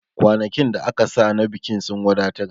Kwanakin da aka sa na bikin sun wadatar